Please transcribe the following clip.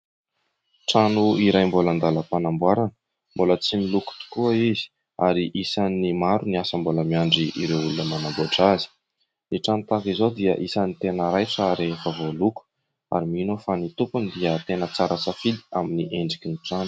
Trano iray mbola an-dàlam-panamboarana mbola tsy miloko tokoa izy ary maro ny asa mbola miandry ireo olona manamboatra azy. Ny trano tahaka izao dia anisan'ny tena raitra rehefa voaloko ary mino aho fa by tompony dia tsara safidy amin'ny endriky ny trano.